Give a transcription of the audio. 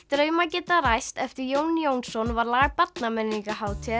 draumar geta ræst eftir Jón Jónsson var lag